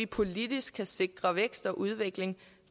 politisk kan sikre vækst og udvikling